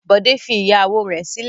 Bọ̀dé fi ìyàwó rẹ̀ sílẹ̀.